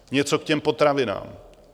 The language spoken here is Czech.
Něco k těm potravinám.